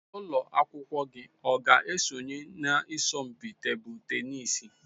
Ụlọ akwụkwọ gị ọ ga-esonye na asọmpi tebụl tenisi?